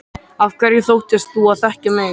Af hverju þóttist þú þá þekkja mig?